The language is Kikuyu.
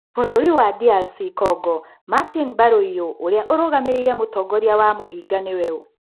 Bũrũri wa DR Congo, Martini bayũlrũ, ũrĩa ũrũgamĩrĩire mũtongoria wa mũhĩnga, nĩ we ũ ?